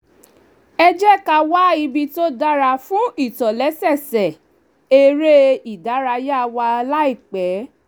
ẹ jẹ́ ká wá ibi tó dára fún ìtòlẹ́sẹẹsẹ eré ìdárayá wa láìpẹ́